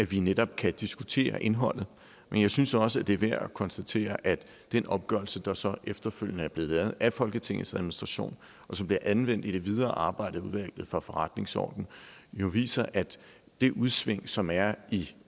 vi netop kan diskutere indholdet men jeg synes også det er værd at konstatere at den opgørelse der så efterfølgende er blevet lavet af folketingets administration og som bliver anvendt i det videre arbejde i udvalget for forretningsordenen jo viser at de udsving som er i